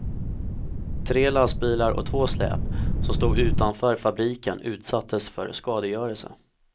Tre lastbilar och två släp som stod utanför fabriken utsattes för skadegörelse.